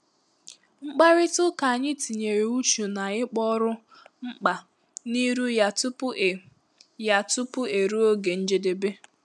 mkpàrịtà ụ́ka ànyị tinyere uchu na ịkpọ òrụ́ mkpa n'ịrụ ya tupu e ya tupu e ruo ògè njedebe.